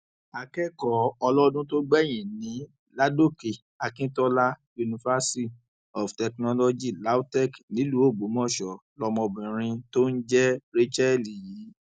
akẹkọọ ọlọdún tó gbẹyìn ní ládòkè akintola universy of technology lautech nílùú ògbómọṣọ lọmọbìnrin tó ń jẹ rachael yìí